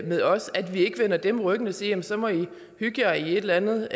med os at vi ikke vender dem ryggen og siger så må i hygge jer i et eller andet